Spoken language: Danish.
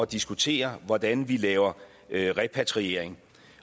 diskutere hvordan vi laver repatriering